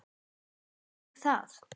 Veist þú það?